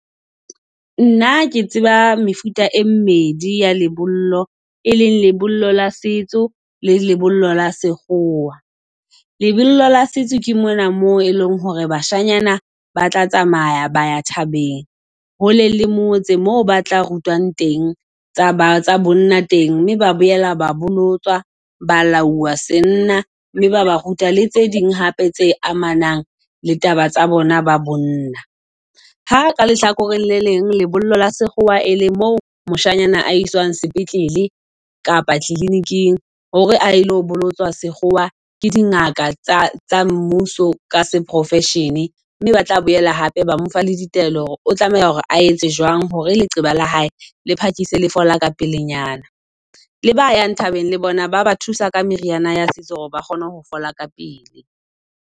Nna ke tseba mefuta e mmedi ya lebollo, e leng lebollo la setso le lebollo la sekgowa. Lebollo la setso ke mona moo e leng hore bashanyana ba tla tsamaya ba thabeng hole le mmotse. Moo ba tla rutwang teng tsa bonna teng, mme ba boela ba bolotswa, balauwa se nna, mme ba ba ruta le tse ding hape tse amanang le taba tsa bona ba bonna. Ha ka lehlakoreng le leng, lebollo la sekgowa e leng mo moshanyana a iswang sepetlele kapa kliniking, hore a ilo bolotswa sekgowa ke dingaka tsa mmuso ka se profession. Mme ba tla boela hape ba mo fa la ditaelo hore o tlameha hore a etse jwang hore leqeba la hae le phakise le fola ka pele nyana. Le ba yang thabeng le bona, ba ba thusa ka meriana ya setso hore ba kgone ho fola ka pele.